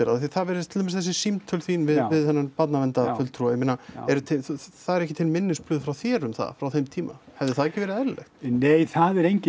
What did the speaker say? af því það virðist til dæmis þessi símtöl þín við þennan ég meina eru til það eru ekki til minnisblöð frá þér um það frá þeim tíma hefði það ekki verið eðlilegt nei það er engin